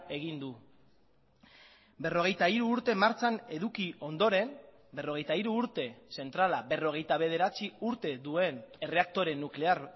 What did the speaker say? egin du berrogeita hiru urte martxan eduki ondoren berrogeita hiru urte zentrala berrogeita bederatzi urte duen erreaktore nuklear